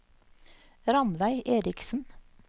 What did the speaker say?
Ranveig Erichsen